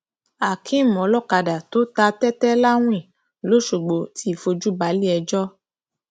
akéem olókàdá tó ta tẹtẹ láwìn lọsgbọ ti fojú balẹẹjọ